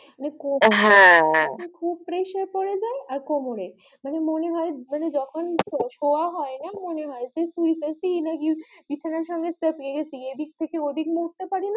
মানে হা খুব presear পরে যাই আর কোমরে মানে মনে হয় মানে যখন সরা হয় মনে হয় বিছানায় এদিক থেকে ওদিকে লড়তে পারিনা